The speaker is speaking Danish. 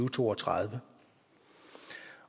to og tredive